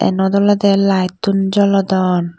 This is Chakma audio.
iyanot olode light un jolodon.